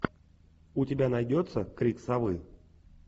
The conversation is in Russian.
у тебя найдется крик совы